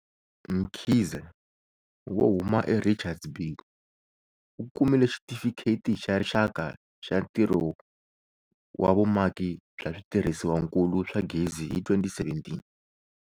Mkhize, wo huma eRichards Bay, u kumile Xitifikheti xa Rixaka xa Ntirho wa Vumaki bya Switirhisiwankulu swa Gezi hi 2017.